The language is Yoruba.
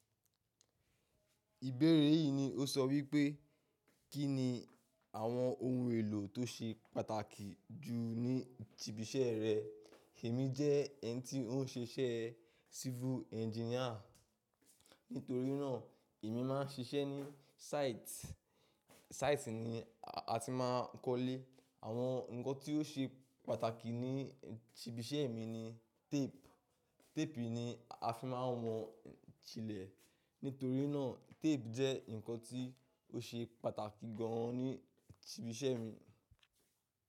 Ìbéèrè yìí ni ó sọ wípé, kínni àwọn ohun èlò tó ṣe pàtàkì jù ní ibiṣẹ́ rẹ? Èmi jẹ́ ẹni tí ó ń ṣe iṣẹ́ civil engineer, nítorí náà èmi máa ń ṣiṣẹ́ ní site. Site ni a ti ma ń kọ́lé. Àwọn ǹkan tí ó ṣe pàtàkì ní ibiṣẹ́ mi ni tape. Tape ni a fi máa wọ̀n ilẹ̀, nítorí náà tape jẹ́ ǹkan tí ó ṣe pàtàkì gan an ní ibiṣẹ́ mi.